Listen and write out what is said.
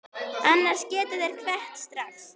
Annars geta þeir kvatt strax.